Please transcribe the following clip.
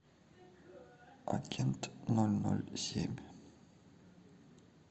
агент ноль ноль семь